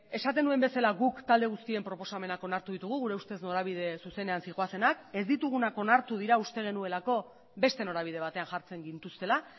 esaten nuen bezala guk talde guztien proposamenak onartu ditugu gure ustez norabide zuzenean zihoazenak ez ditugunak onartu da uste genuelako beste norabide batean jartzen gintuztela